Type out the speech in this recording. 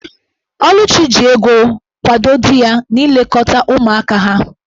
Oluchi ji ego kwado di ya n'ilekọta ụmụaka ha.